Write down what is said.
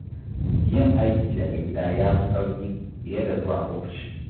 Yin aiki daga gida ya fi sauƙi, fiye da zuwa ofishi.